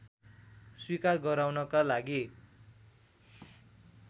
स्वीकार गराउनका लागि